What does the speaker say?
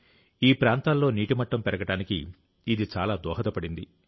ఈ ప్రాంతాల్లో నీటి మట్టం పెరగడానికి ఇది చాలా దోహదపడింది